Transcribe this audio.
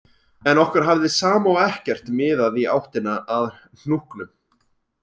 En okkur hafði sama og ekkert miðað í áttina að hnúknum